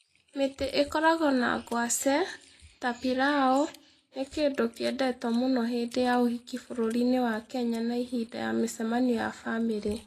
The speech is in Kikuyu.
Mĩtĩ ĩkoragwo na ngwacĩ, ta pilau, nĩ kĩndũ kĩendetwo mũno hĩndĩ ya ũhiki bũrũri-inĩ wa Kenya na hĩndĩ ya mĩcemanio ya bamĩrĩ.